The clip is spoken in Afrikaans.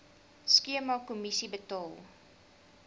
skema kommissie betaal